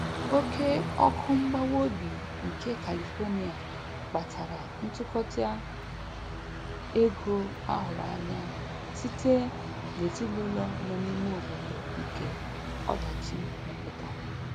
Oke ọkụ mgbawa obi nke Califonia kpatara ntụkọta ego a hụrụ anya site n'ezinụlọ nọ n'lme obodo nke ọdachi metụtara.